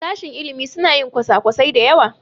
Sashen ilimi suna yin kwasa-kwasai da yawa.